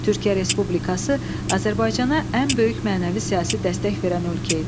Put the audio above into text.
Türkiyə Respublikası Azərbaycana ən böyük mənəvi-siyasi dəstək verən ölkə idi.